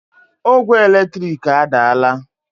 Ogwe eletrik adaala